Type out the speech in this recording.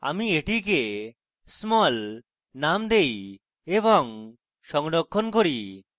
আমি এটিকে small name দেই এবং সংরক্ষণ করি